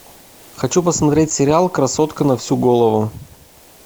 хочу посмотреть сериал красотка на всю голову